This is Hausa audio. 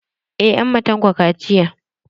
Eh an ma Tanko kaciya.